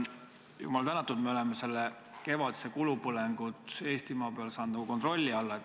Jumal tänatud, me oleme kevadise kulupõletamise Eestimaal saanud kontrolli alla.